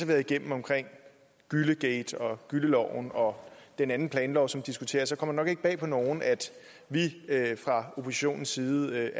været igennem omkring gyllegate og gylleloven og den anden planlov som diskuteres kommer det nok ikke bag på nogen at vi fra oppositionens side